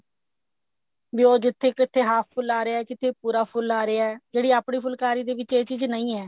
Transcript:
ਵੀ ਉਹ ਜਿੱਥੇ ਕਿੱਥੇ half ਫੁੱਲ ਆ ਰਿਹਾ ਕਿਤੇ ਪੂਰਾ ਫੁੱਲ ਆ ਰਿਹਾ ਜਿਹੜੀ ਆਪਣੀ ਫੁਲਕਾਰੀ ਦੇ ਵਿੱਚ ਇਹ ਚੀਜ਼ ਨਹੀਂ ਹੈ